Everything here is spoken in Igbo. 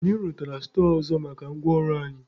Anyị rụtara stọọ ọzọ maka ngwa ọrụ anyị.